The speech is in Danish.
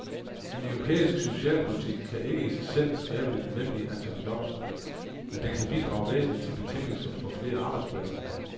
En europæisk socialpolitik kan ikke i sig selv skabe det nødvendige antal job, men den kan bidrage væsentligt til betingelserne for flere arbejdspladser.